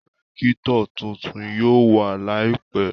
Rẹ́kítọ̀ tuntun yóò wà láìpẹ́